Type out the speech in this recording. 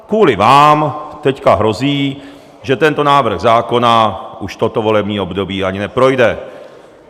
Kvůli vám teď hrozí, že tento návrh zákona už toto volební období ani neprojde.